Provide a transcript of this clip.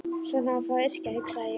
Svona á þá að yrkja, hugsaði ég.